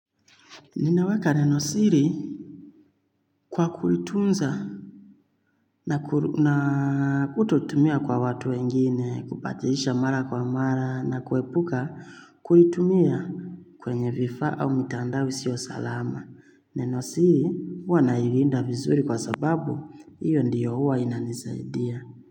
Ninaweka nenosiri kwa kulitunza na ututumia kwa watu wengine, kupatisha mara kwa mara na kuepuka kulitumia kwenye vifaa au mitandao isio salama. Nenosiri huwa nailinda vizuri kwa sababu hiyo ndiyo huwa inanisaidia.